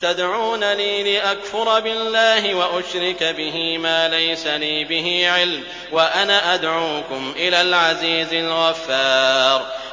تَدْعُونَنِي لِأَكْفُرَ بِاللَّهِ وَأُشْرِكَ بِهِ مَا لَيْسَ لِي بِهِ عِلْمٌ وَأَنَا أَدْعُوكُمْ إِلَى الْعَزِيزِ الْغَفَّارِ